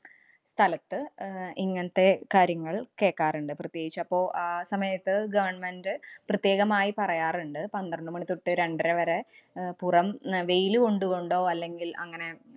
സ്ഥലത്ത് അഹ് ഇങ്ങനത്തെ കാര്യങ്ങള്‍ കേക്കാറുണ്ട്. പ്രത്യേകിച്ച് അപ്പൊ ആ സമയത്ത് government അ് പ്രത്യേകമായി പറയാറുണ്ട്. പന്ത്രണ്ടു മണി തൊട്ടു രണ്ടര വരെ അഹ് പുറം അഹ് വെയില് കൊണ്ടുകൊണ്ടോ, അല്ലെങ്കില്‍ അങ്ങനെ